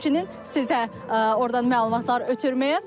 Həmçinin sizə ordan məlumatlar ötürməyə.